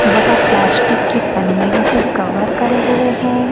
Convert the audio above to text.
वह प्लास्टिक की पनियों से कवर करे हुए हैं।